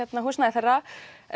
húsnæði þeirra